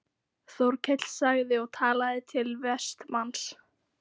Þórkell sagði og talaði til Vestmanns